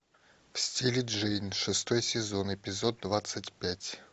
в стиле джейн шестой сезон эпизод двадцать пять